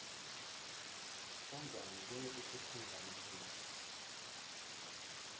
kangwane kunetikhukhula namunla